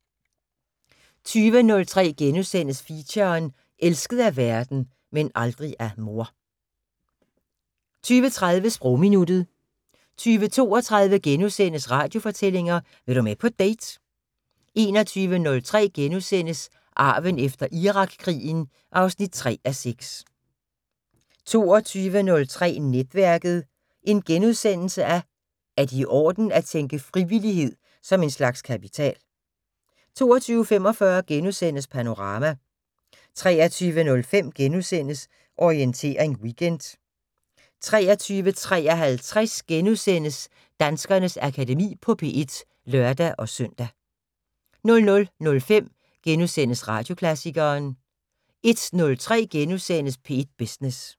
20:03: Feature: Elsket af verden - men aldrig af mor * 20:30: Sprogminuttet 20:32: Radiofortællinger: Vil du med på date? * 21:03: Arven efter Irakkrigen (3:6)* 22:03: Netværket: Er det i orden at tænke frivillighed som en slags kapital? * 22:45: Panorama * 23:05: Orientering Weekend * 23:53: Danskernes Akademi på P1 *(lør-søn) 00:05: Radioklassikeren * 01:03: P1 Business *